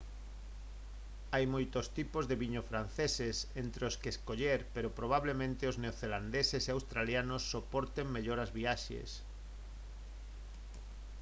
hai moitos tipos de viño franceses entre os que escoller pero probablemente os neocelandeses e australianos soporten mellor as viaxes